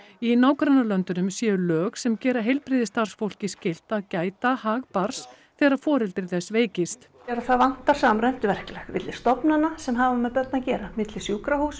í nágrannalöndunum séu lög sem gera heilbrigðisstarfsfólki skylt að gæta að hag barns þegar foreldri þess veikist það vantar samræmt verklag milli stofnana sem hafa með börn að gera milli sjúkrahúsa